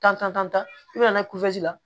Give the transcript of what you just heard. Tan tan tan i bɛna kulusi la